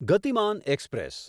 ગતિમાન એક્સપ્રેસ